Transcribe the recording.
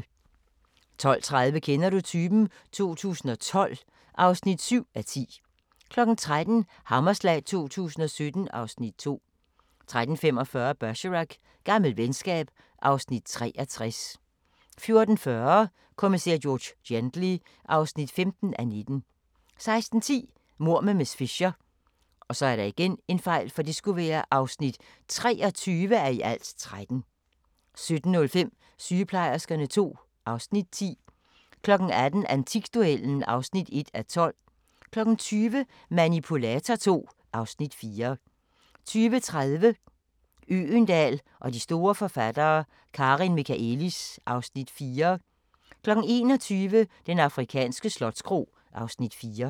12:30: Kender du typen? 2012 (7:10) 13:00: Hammerslag 2017 (Afs. 2) 13:45: Bergerac: Gammelt venskab (Afs. 63) 14:40: Kommissær George Gently (15:19) 16:10: Mord med miss Fisher (23:13) 17:05: Sygeplejerskerne II (Afs. 10) 18:00: Antikduellen (1:12) 20:00: Manipulator II (Afs. 4) 20:30: Øgendahl og de store forfattere: Karin Michaëlis (Afs. 4) 21:00: Den afrikanske slotskro (Afs. 4)